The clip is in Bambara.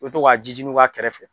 U bɛ to ka ji jininw k'a kɛrɛfɛ